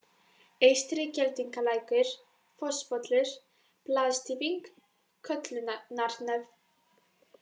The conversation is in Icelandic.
Eystri-Geldingalækur, Fosspollur, Blaðstýfing, Köllunarnef